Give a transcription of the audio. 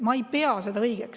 Ma ei pea seda õigeks.